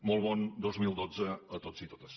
molt bon dos mil dotze a tots i totes